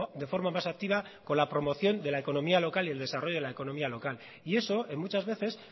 de forma más activa con la promoción de la economía local y el desarrollo de la economía local y eso en muchas veces